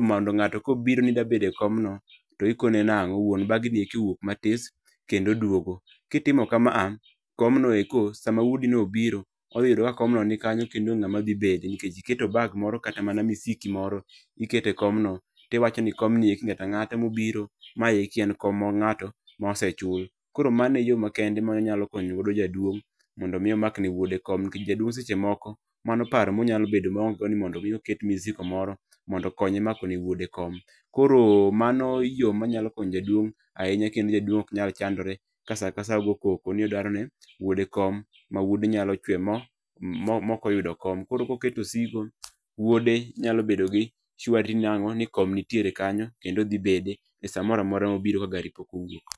mondo ng'ato kobiro mi dwa bedo e kom mo tikone ni wuon bagni owuok matis kendo duogo, kitimo kamano komno eko sa ma wuodi no obiro odhiyudo ka kom no ni kanyo kendo ong'e ngama dhi bede nikech iketo bag moro kata osiki m oro ikete komno eki ng'ata ng'ata mobiro maeki en kom na mgato mosechul koro mano e yoo makende ma inyalo konyo gode jaduong' mondo mi omakne wuode kom nikech jaduong' seche moko mano paro monyalo bedo maong'e go ni mondo mi oket misigo moro mondokonye mako ne wuode kom koro mano yoo ma nyalo konyo go jaduong' ahinya kendo jaduong' oknyal chandore ka sa kasa kogo koko ma wode nyalo chweyo mokoyudo kom koro koketo osigo wuode nyalo bedo gi nang'o ni kome nitiere kanyo kendo odhibede e saa moramora mobire ka gari pokowuok.